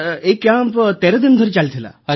sir ଏହି camp 13 ଦିନ ଧରି ଚାଲିଥିଲା